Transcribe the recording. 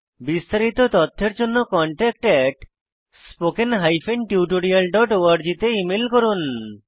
বিস্তারিত তথ্যের জন্য contactspoken tutorialorg তে ইমেল করুন